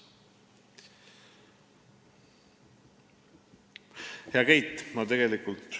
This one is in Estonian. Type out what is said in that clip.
Hea Keit!